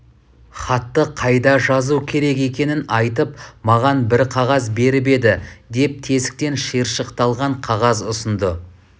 хатты қайда жазу керек екенін айтып маған бір қағаз беріп еді деп тесіктен шиыршықталған қағаз ұсынды